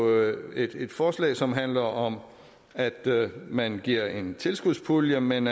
jo er et forslag som handler om at man giver en tilskudspulje men